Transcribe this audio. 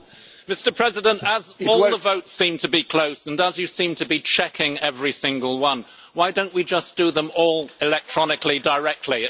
Mr President, as all the votes seem to be close and as you seem to be checking every single one, why don't we just do them all electronically directly?